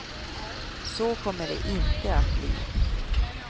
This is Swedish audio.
Så kommer det inte att bli.